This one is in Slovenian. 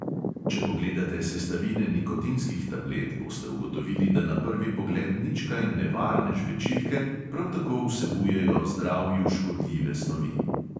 Če pogledate sestavine nikotinskih tablet, boste ugotovili, da na prvi pogled nič kaj nevarne žvečilke prav tako vsebujejo zdravju škodljive snovi.